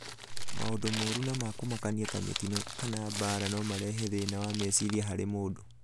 Maũndũ moru ma kũmakania ta mĩtino kana mbaara no marehe thĩna wa meciria harĩ mũndũ.